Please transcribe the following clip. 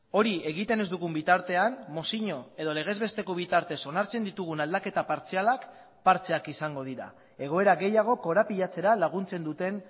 hori egiten ez dugun bitartean mozio edo legezbesteko bitartez onartzen ditugun aldaketa partzialak partxeak izango dira egoera gehiago korapilatzera laguntzen duten